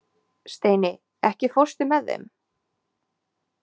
Steini, ekki fórstu með þeim?